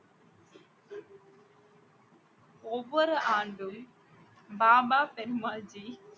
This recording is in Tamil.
ஒவ்வொரு ஆண்டும் பாபா ஃபெரு மால்ஜி